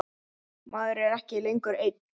Maður er ekki lengur einn.